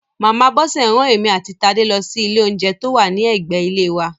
Màmá Bọ́sẹ̀ rán èmi àti Tádé lọ sí ilé oúnjẹ tó wà ní ẹ̀gbẹ ilé wa